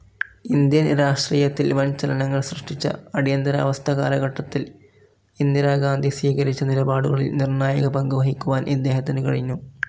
Indian രാഷ്ട്രീയത്തിൽ വൻ ചലനങ്ങൾ സൃഷ്‌ടിച്ച അടിയന്തരാവസ്ഥ കാലഘട്ടത്തിൽ ഇന്ദിരാഗാന്ധി സ്വീകരിച്ച നിലപാടുകളിൽ നിർണ്ണായക പങ്കുവഹിക്കുവാൻ ഇദ്ദേഹത്തിനു കഴിഞ്ഞു.